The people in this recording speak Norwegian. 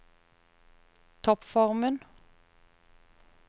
toppformen